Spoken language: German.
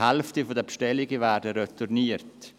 Die Hälfte der Bestellungen wird retourniert.